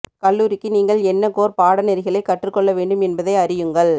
கல்லூரிக்கு நீங்கள் என்ன கோர் பாடநெறிகளைக் கற்றுக் கொள்ள வேண்டும் என்பதை அறியுங்கள்